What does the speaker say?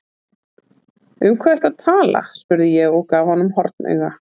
Um hvað ertu að tala spurði ég og gaf honum hornauga.